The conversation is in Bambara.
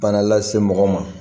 Bana lase mɔgɔ ma